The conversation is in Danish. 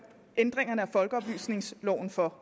ændringerne af folkeoplysningsloven for